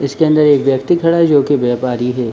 इसके अंदर एक व्यक्ति खड़ा है जो कि व्यापारी है।